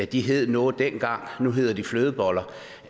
de hed noget dengang nu hedder de flødeboller